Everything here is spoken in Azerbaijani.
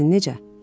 Bəs sizin necə?